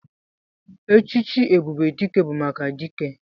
Echichi ebube dike bu maka dike.